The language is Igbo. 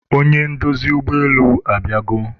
onye ndozi ụgbọelu abịago